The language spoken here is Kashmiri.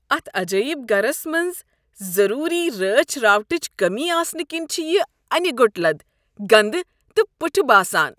اتھ عجٲیب گرس منٛز ضروٗری رٲچھ راوٹھٕچ کٔمی آسنہٕ کنۍ چھ یہ انہِ گوٚٹ لد، گندٕ تہٕ پُٹھہٕ باسان۔